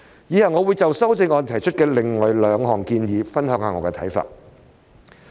以下我會就修正案提出的另外兩項建議，分享我的看法。